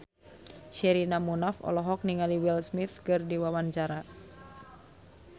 Sherina Munaf olohok ningali Will Smith keur diwawancara